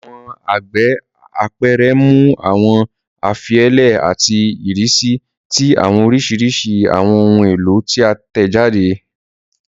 Awọn ẹgbẹ apẹrẹ mu awọn ifilelẹ ati irisi ti awọn orisirisi awọn ohun elo ti a tẹjade.